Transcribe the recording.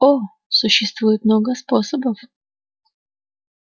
о существует много способов